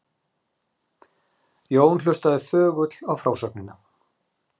Jón hlustaði þögull á frásögnina.